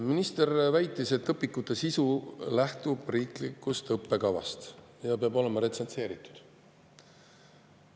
Minister väitis, et õpikute sisu lähtub riiklikust õppekavast ja peab olema retsenseeritud.